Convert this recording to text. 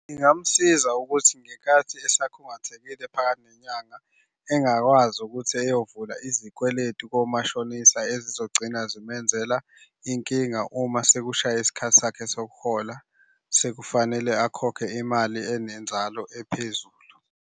Ngingamusiza ukuthi ngenkathi esakhungathekile phakathi nenyanga engakwazi ukuthi eyovula izikweletu komashonisa ezizogcina zimenzela iy'nkinga uma sekushaye isikhathi sakhe sokuhola sekufanele akhokhe imali enenzalo ephezulu.